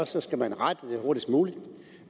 så skal man rette det hurtigst muligt